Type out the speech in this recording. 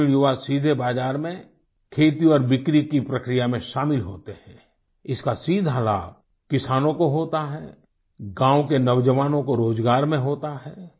ग्रामीणयुवा सीधे बाज़ार में खेती और बिक्री की प्रक्रिया में शामिल होते हैं इसका सीधा लाभ किसानों को होता है गाँव के नौजवानों को रोजगार में होता है